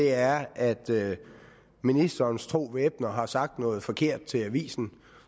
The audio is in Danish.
er at ministerens tro væbner har sagt noget forkert til avisen